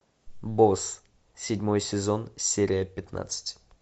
босс седьмой сезон серия пятнадцать